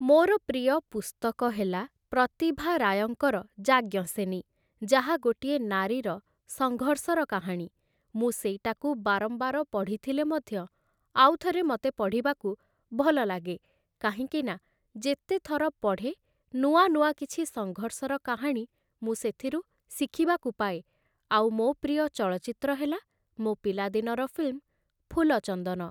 ମୋର ପ୍ରିୟ ପୁସ୍ତକ ହେଲା ପ୍ରତିଭା ରାୟଙ୍କର ଯାଜ୍ଞସେନୀ, ଯାହା ଗୋଟିଏ ନାରୀର ସଙ୍ଘର୍ଷର କାହାଣୀ ।ମୁଁ ସେଇଟାକୁ ବାରମ୍ବାର ପଢ଼ିଥିଲେ ମଧ୍ୟ ଆଉଥରେ ମତେ ପଢ଼ିବାକୁ ଭଲଲାଗେ କାହିଁକିନା ଯେତେଥର ପଢ଼େ, ନୂଆ ନୂଆ କିଛି ସଙ୍ଘର୍ଷର କାହାଣୀ ମୁଁ ସେଥିରୁ ଶିଖିବାକୁ ପାଏ ଆଉ ମୋ' ପ୍ରିୟ ଚଳଚ୍ଚିତ୍ର ହେଲା ମୋ' ପିଲାଦିନର ଫିଲ୍ମ 'ଫୁଲ ଚନ୍ଦନ' ।